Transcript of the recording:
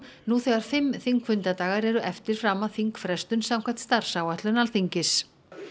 nú þegar fimm þingfundadagar eru eftir fram að þingfrestun samkvæmt starfsáætlun Alþingis